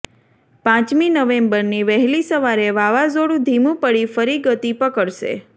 પાંચમી નવેમ્બરની વહેલી સવારે વાવાઝોડું ધીમું પડી ફરી ગતિ પકડશે